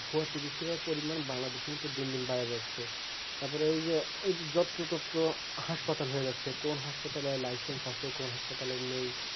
ভুয়া চিকিৎসকের পরিমান বাংলাদেশে কিন্তু দিন দিন বাইরা যাচ্ছে তারপরে ওই জো যত্র তত্র হাসপাতাল হয়ে যাচ্ছে কোন হাসপাতালে license আছে কোন হাসপাতালে নেই